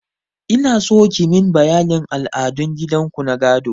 Inaso kimin bayanin al'adun gidan ku na gado.